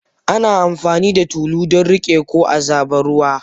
Ana amfani da tulu don riƙe ko a zuba ruwa.